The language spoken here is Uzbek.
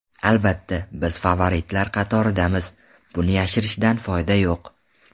Albatta, biz favoritlar qatoridamiz, buni yashirishdan foyda yo‘q.